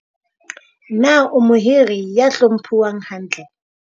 Na o mohiri ya hlomphuwang hantle?